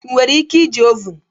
Ị nwere ike iji ovun?